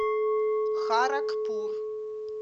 харагпур